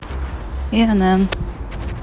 инн